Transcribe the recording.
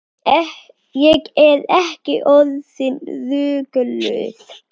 Ég er ekki orðin rugluð.